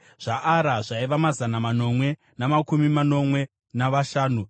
zvaAra zvaiva mazana manomwe namakumi manomwe navashanu;